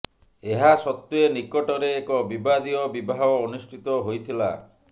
ଏହା ସତ୍ତ୍ୱେ ନିକଟରେ ଏକ ବିବାଦୀୟ ବିବାହ ଅନୁଷ୍ଠିତ ହୋଇଥିଲା